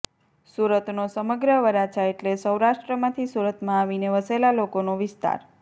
સુરતનો સમગ્ર વરાછા એટલે સૌરાષ્ટ્રમાંથી સુરતમાં આવીને વસેલા લોકોનો વિસ્તાર